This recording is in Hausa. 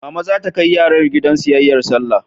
Mama za ta kai yaran gidan siyayyar Sallah.